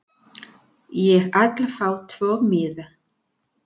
Ég ætla að fá tvo miða.